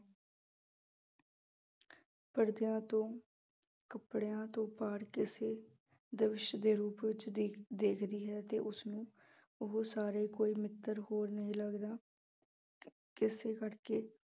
ਪਰਦਿਆਂ ਤੋਂ ਕੱਪੜਿਆਂ ਤੋਂ ਪਾਰ ਕਿਸੇ ਦਰਸ ਦੇ ਰੂਪ ਵਿੱਚ ਦੀ ਦਿਖਦੀ ਹੈ ਤੇ ਉਸਨੂੰ ਉਹ ਸਾਰੇ ਕੋਈ ਮਿੱਤਰ ਹੋਰ ਨਹੀਂ ਲੱਗਦਾ ਕਿਸੇ ਕਰਕੇ